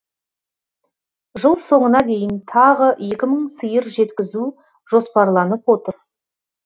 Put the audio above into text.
жыл соңына дейін тағы екі мың сиыр жеткізу жоспарланып отыр